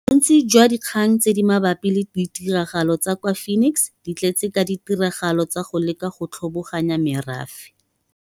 Bontsi jwa dikgang tse di mabapi le ditiragalo tsa kwa Phoenix di tletse ka ditiragalo tsa go leka go tlhoboganya merafe.